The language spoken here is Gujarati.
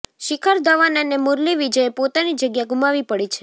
શિખર ધવન અને મુરલી વિજયે પોતાની જગ્યા ગુમાવી પડી છે